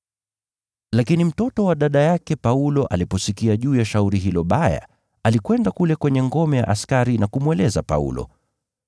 Lakini mtoto wa dada yake Paulo aliposikia juu ya shauri hilo baya, alikwenda kule kwenye ngome ya askari na kumweleza Paulo.